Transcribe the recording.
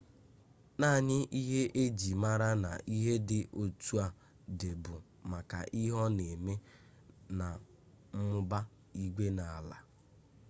naanị ihe e ji mara na ihe dị otu a dị bụ maka ihe ọ na-eme na mmụba igwe na ala.